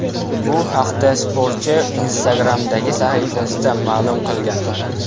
Bu haqda sportchi Instagram’dagi sahifasida ma’lum qilgan .